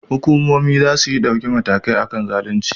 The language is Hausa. Hukumomi zasuyi dauki mataki akan zalunci